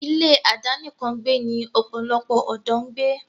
ilé àdánìkàn gbẹ́ ni pòlòlopò òdó ń gbé.